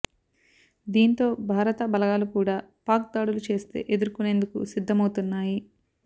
దీంతో భారత బలగాలు కూడా పాక్ దాడులు చేస్తే ఎదుర్కొనేందుకు సిద్ధమవుతున్నాయి